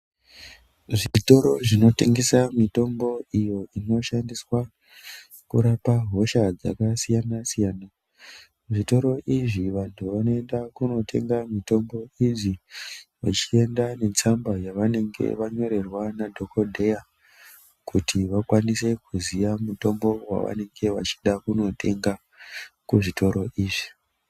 Zvitoro zvinotengesa mitombo iyo inoshandiswa kurape nhenda dzakasiyana siyana. Zvitoro izvi vanhu vanoenda kunotenga mitombo idzi vachienda netsamba yavanenge vanyorerwa nadhokodheya kuti vakwanise kuziya mitombo yavanenge vachida kutenga kuzvitoro izvi.